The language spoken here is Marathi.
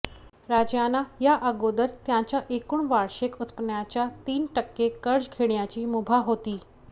राज्यांना या अगोदर त्यांच्या एकूण वार्षिक उत्पन्नाच्या तीन टक्के कर्ज घेण्याची मुभा होती